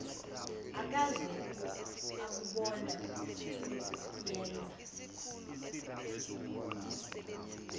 akaze akubona okuyenza